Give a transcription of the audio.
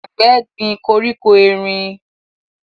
Àgbẹ̀ gbin koríko erin